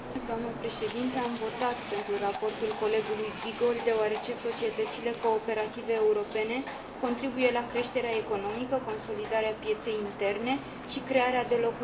Am votat pentru raportul colegului Giegold, deoarece societățile cooperative europene contribuie la creșterea economică, consolidarea pieței interne și crearea de locuri de muncă.